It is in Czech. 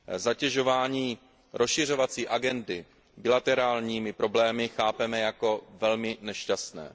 Zatěžování rozšiřovací agendy bilaterálními problémy chápeme jako velmi nešťastné.